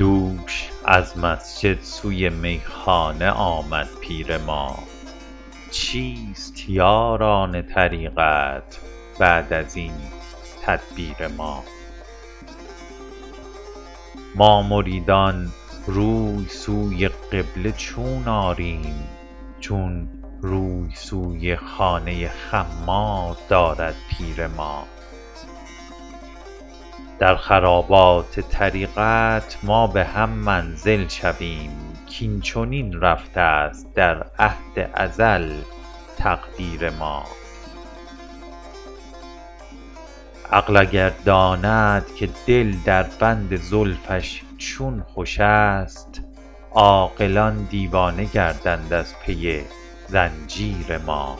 دوش از مسجد سوی میخانه آمد پیر ما چیست یاران طریقت بعد از این تدبیر ما ما مریدان روی سوی قبله چون آریم چون روی سوی خانه خمار دارد پیر ما در خرابات طریقت ما به هم منزل شویم کاین چنین رفته است در عهد ازل تقدیر ما عقل اگر داند که دل در بند زلفش چون خوش است عاقلان دیوانه گردند از پی زنجیر ما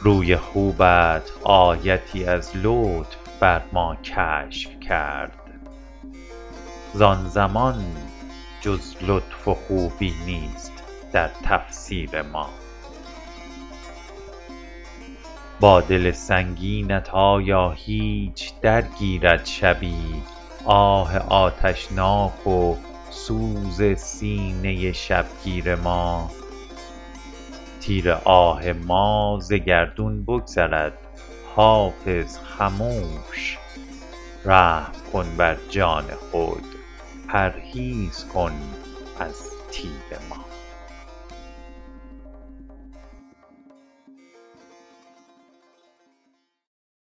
روی خوبت آیتی از لطف بر ما کشف کرد زان زمان جز لطف و خوبی نیست در تفسیر ما با دل سنگینت آیا هیچ درگیرد شبی آه آتشناک و سوز سینه شبگیر ما تیر آه ما ز گردون بگذرد حافظ خموش رحم کن بر جان خود پرهیز کن از تیر ما